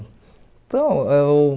Então, é o...